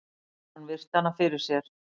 Hann virti hana fyrir sér.